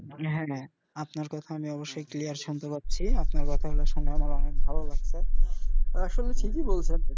হ্যা হ্যা আপনার কথা আমি অবশ্যই clear শুনতে পাচ্ছি আপনার কথা গুলো শুনে আমার অনেক ভালো লাগছে আসলে ঠিকই বলছেন.